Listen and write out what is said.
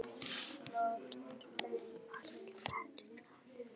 Afi varð eins og svo margir aðrir fyrir áfalli.